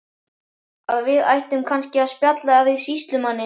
Að við ættum kannski að spjalla við sýslumanninn.